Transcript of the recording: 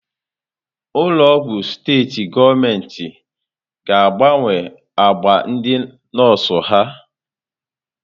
Ụlọ ọgwụ steetị gọọmenti ga-agbanwe agba ndị nọọsụ ha.